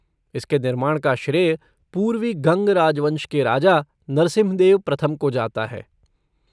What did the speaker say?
इसके निर्माण का श्रेय पूर्वी गंग राजवंश के राजा नरसिम्हदेव प्रथम को जाता है।